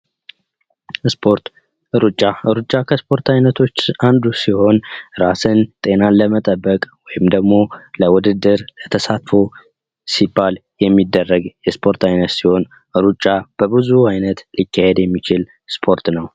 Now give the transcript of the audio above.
ስፖርት ሩጫ ሩጫ፦ ከስፖርት አይነቶች ውስጥ አንዱ ሲሆን ራስን፣ ጤናን ለመጠበቅ ወይም ደግሞ ለውድድር ለተሳትፎ ሲባል የሚደረግ የስፖርት አይነት ሲሆን ሩጫ በብዙ አይነት ሊካሄድ የሚችል ስፖርት ነው።